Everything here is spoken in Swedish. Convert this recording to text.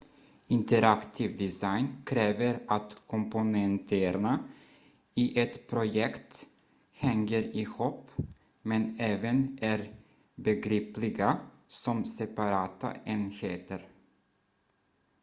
interaktiv design kräver att komponenterna i ett projekt hänger ihop men även är begripliga som separata enheter